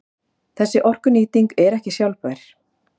Þessi orkunýting er ekki sjálfbær.